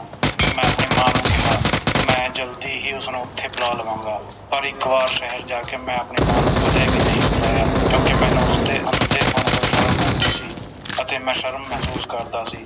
ਮੈਂ ਆਪਣੀ ਮਾਂ ਨੂੰ ਕਿਹਾ ਮੈਂ ਜਲਦੀ ਹੀ ਉਸਨੂੰ ਉਥੇ ਬੁਲਾ ਲਵਾਂਗਾ ਪਰ ਇਕ ਵਾਰ ਸ਼ਹਿਰ ਜਾ ਕੇ ਮੈਂ ਆਪਣੀ ਮਾਂ ਨੂੰ ਕਦੇ ਨਹੀਂ ਬੁਲਾਇਆ ਕਿਉਕਿ ਮੈਨੂੰ ਉਸਦੇ ਅੰਧੇਪੰਨ ਤੋਂ ਸ਼ਰਮ ਆਉਂਦੀ ਸੀ ਅਤੇ ਮੈਂ ਸ਼ਰਮ ਮਹਿਸੂਸ ਕਰਦਾ ਸੀ